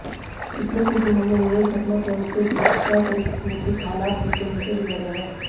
पिछले कुछ दिनों में हुए घटनाक्रम से सुरक्षा परिस्थितियों के हालात तेजी से बिगड़े हैं